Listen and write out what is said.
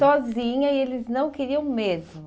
Sozinha e eles não queriam mesmo.